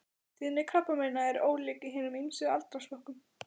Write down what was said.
Tíðni krabbameina er ólík í hinum ýmsu aldursflokkum.